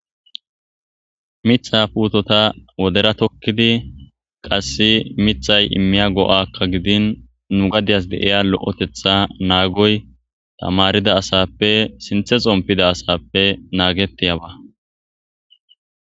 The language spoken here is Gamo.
Mitha puutota wodera tokkidi qasse mithay immiya go'akka gidin nu gadias deiya lo'etetha naagoy tamarida asappe sinthe xompida asappe naagetiyaba.